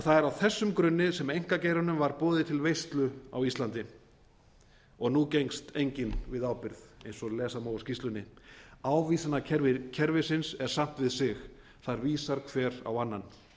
er á þessum grunni sem einkageiranum var boðið til veislu á íslandi og nú gengst enginn við ábyrgð eiga og lesa má úr skýrslunni ávísanakerfi kerfisins er samt við sig þar vísar hver á annan